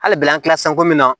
Hali bi an kilala sanko min na